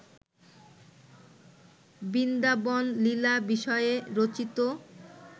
বৃন্দাবনলীলা বিষয়ে রচিত